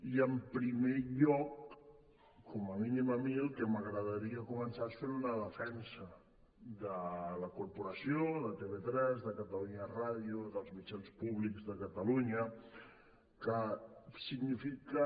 i en primer lloc com a mínim a mi el que m’agradaria començar és fent una defensa de la corporació de tv3 de catalunya ràdio dels mitjans públics de ca·talunya que signifiquen